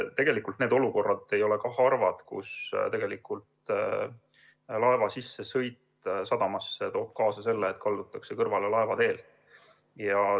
Tegelikult need olukorrad ei ole harvad, kus laeva sissesõit sadamasse toob kaasa selle, et kaldutakse laevateelt kõrvale.